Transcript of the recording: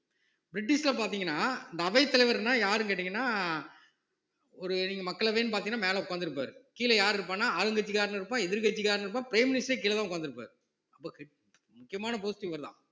பிரிட்டிஷ்ல பார்த்தீங்கன்னா இந்த அவைத்தலைவர்ன்னா யாருன்னு கேட்டீங்கன்னா ஒரு நீங்க மக்களவைன்னு பார்த்தீங்கன்னா மேல உட்கார்ந்து இருப்பாரு கீழ யாரு இருப்பான்ன ஆளுங்கட்சிக்காரனும் இருப்பான் எதிர்க்கட்சிக்காரனும் இருப்பான் prime minister ஏ கீழதான் உட்கார்ந்து இருப்பாரு ரொம்ப முக்கியமான post இவர்தான்